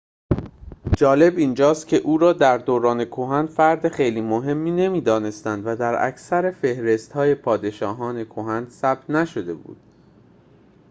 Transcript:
جالب اینجاست که او را در دوران کهن فرد خیلی مهمی نمی‌دانستند و در اکثر فهرست‌های پادشاهان کهن ثبت نشده بود